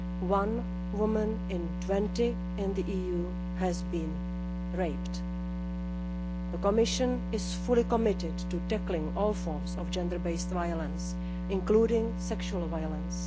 One woman in 20 in the EU has been raped. The Commission is fully committed to tackling all forms of gender based violence, including sexual violence.